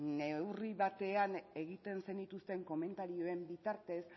neurri batean egiten zenituzten komentarioen bitartez